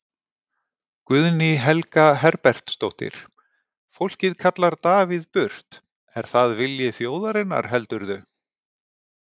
Guðný Helga Herbertsdóttir: Fólkið kallar Davíð burt, er það vilji þjóðarinnar heldurðu?